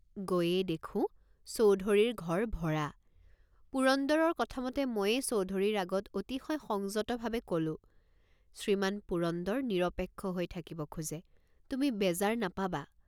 গৈয়েই দেখোঁ চৌধুৰীৰ ঘৰ ভৰা। পুৰন্দৰৰ কথামতে ময়েই চৌধুৰীৰ আগত অতিশয় সংযতভাৱে কলোঁ শ্ৰীমান পুৰন্দৰ নিৰপেক্ষ হৈ থাকিব খোজে তুমি বেজাৰ নাপাবা।